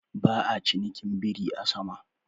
Ba'a cinikin biri a sama.